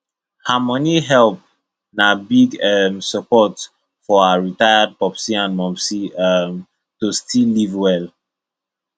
her money help na big um support for her retired popsi and momsi um to still live well